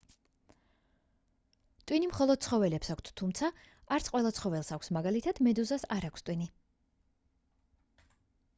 ტვინი მხოლოდ ცხოველებს აქვთ თუმცა არც ყველა ცხოველს აქვს; მაგალითად მედუზას არ აქვს ტვინი